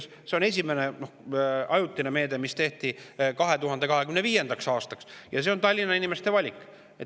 See,, on esimene ajutine meede, mis tehti 2025. aastaks, ja see on Tallinna inimeste valik.